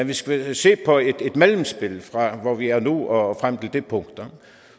vi skal se på et mellemspil fra hvor vi er nu og frem til det punkt